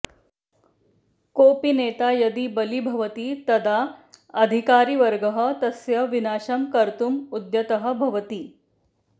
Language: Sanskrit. कोऽपि नेता यदी बली भवति तदा अधिकारिवर्गः तस्य विनाशं कर्तुम् उद्यतः भवति